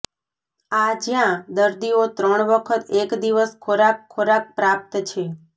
આ જ્યાં દર્દીઓ ત્રણ વખત એક દિવસ ખોરાક ખોરાક પ્રાપ્ત છે